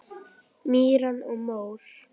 Mýrar og mór